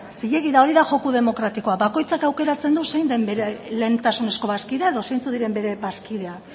zilegi da hori da joko demokratikoa bakoitzak aukeratzen du zein den bere lehentasunezko bazkidea edo zeintzuk diren bere bazkideak